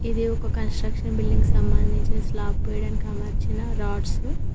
ఇది ఒక construction building సంబంధించిన స్లాబ్ వేయడానికి అమర్చిన రాడ్సు .